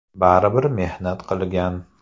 Baribir mehnat qilgan.